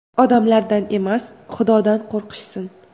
Odamlardan emas, Xudodan qo‘rqishsin!